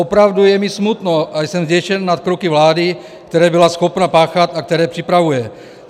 Opravdu je mi smutno a jsem zděšen nad kroky vlády, které byla schopna páchat a které připravuje.